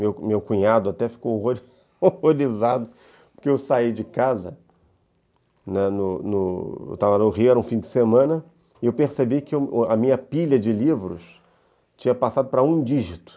Meu meu cunhado até ficou horrorizado porque eu saí de casa, eu estava no Rio, era um fim de semana, e eu percebi que a minha pilha de livros tinha passado para um dígito.